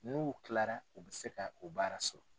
N'u kilara u bɛ se ka o baara sɔrɔ.